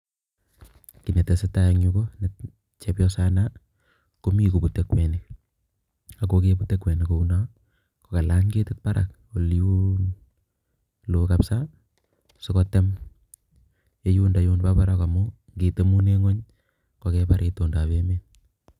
Kiy ne tesetai eng yu, ko chepyosana komi koputei kwenik ako ye putei kwenik kouno kokalany ketit barak oliin loo kapsa sikotem ye yundo bo baraak amun ngetem ingwony kokengem itoondab emet.